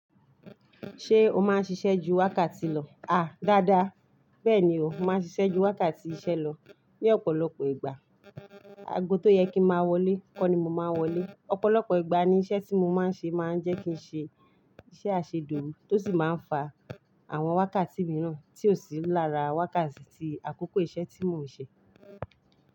Ṣé o máa ń ṣiṣẹ́ ju wákàtí lọ? À, dáadáa. Bẹ́ẹ̀ni o, mo máa ń ṣiṣẹ́ ju wákàtí iṣẹ́ lọ ní ọ̀pọ̀lọpọ̀ ìgbà. Aago tó yẹ kí ń máa wọlé kọ́ ni mo máa ń wọlé. Ọ̀pọ̀lọpọ̀ ìgbà ni iṣẹ́ tí mo bá ń ṣe máa ń jẹ́ kí n ṣe iṣẹ́ àṣedòru tó sì máa ń fa àwọn wákàtí mìíràn tí ò sí lára wákàtí tí àkókò iṣẹ́ tí mo ń ṣe.